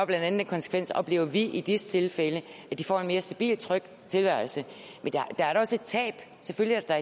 blandt andet den konsekvens oplever vi i disse tilfælde at de får en mere stabil og tryg tilværelse men der er da også et tab selvfølgelig er der